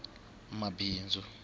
mabindzu